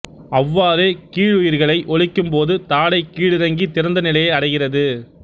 அவ்வாறே கீழுயிர்களை ஒலிக்கும்போது தாடை கீழிறங்கித் திறந்த நிலையை அடைகிறது